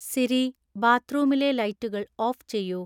Siri ബാത്ത്റൂമിലെ ലൈറ്റുകൾ off ചെയ്യൂ